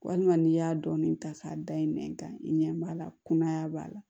Walima n'i y'a dɔɔnin ta k'a da i nɛn kan i ɲɛ b'a la kunaya b'a la